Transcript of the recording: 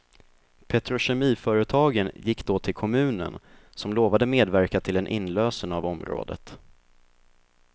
Petrokemiföretagen gick då till kommunen, som lovade medverka till en inlösen av området.